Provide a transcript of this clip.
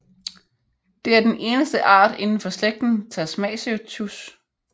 Det er den eneste art indenfor slægten Tasmacetus